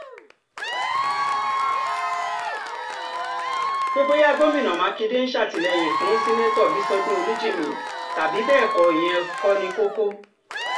pé bóyá gọ́mìn mákindé ń ṣàtìlẹ́yìn fún sẹ́ńtítọ́ bíṣọdún olújímì tàbí bẹ́ẹ̀ kọ́ ìyẹn kò ní koko